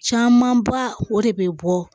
Camanba o de bɛ bɔ